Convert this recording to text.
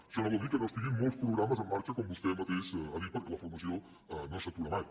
això no vol dir que no estiguin molts programes en marxa com vostè mateixa ha dit perquè la formació no s’atura mai